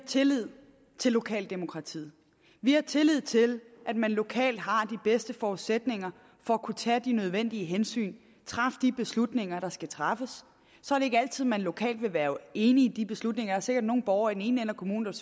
tillid til lokaldemokratiet vi har tillid til at man lokalt har de bedste forudsætninger for at kunne tage de nødvendige hensyn og træffe de beslutninger der skal træffes så er det ikke altid at man lokalt vil være enige i de beslutninger der er sikkert nogle borgere i den ene ende af kommunen